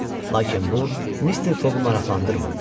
Lakin bu Mister Foqu maraqlandırmırdı.